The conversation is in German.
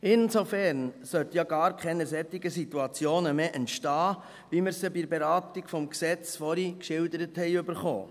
Insofern sollten ja gar keine solchen Situationen mehr entstehen, wie wir sie bei der Beratung des Gesetzes vorhin geschildert erhielten.